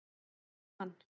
Frímann